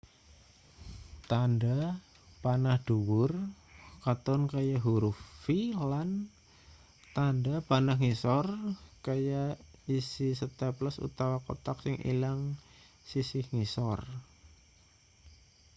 tandha panah dhuwur katon kaya huruf v lan tandha panah ngisor kaya isi staples utawa kothak sing ilang sisih ngisor